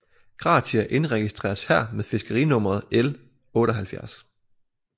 Gratia indregistreres her med fiskerinummeret L 78